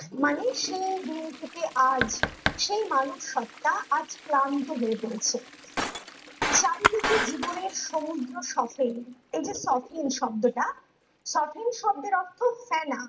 মানে সেই দিন থেকে আজ সেই মানব সত্তা আজ ক্লান্ত হয়ে পড়েছে চারিদিকে জীবনের সমুদ্র সকেন এই যে সকেন শব্দটা সকেন শব্দের অর্থ ফেনা